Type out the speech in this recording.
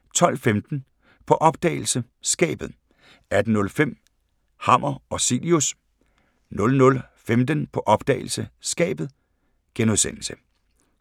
12:15: På opdagelse – Skabet 18:05: Hammer og Cilius 00:15: På opdagelse – Skabet *